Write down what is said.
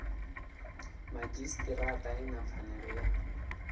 madzhisitirata i na pfanelo ya